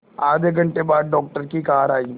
आधे घंटे बाद डॉक्टर की कार आई